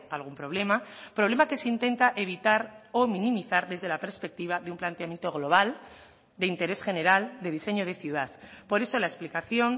algún problema problema que se intenta evitar o minimizar desde la perspectiva de un planteamiento global de interés general de diseño de ciudad por eso la explicación